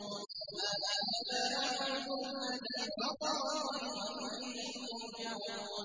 وَمَا لِيَ لَا أَعْبُدُ الَّذِي فَطَرَنِي وَإِلَيْهِ تُرْجَعُونَ